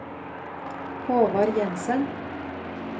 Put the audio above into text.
Håvard Jenssen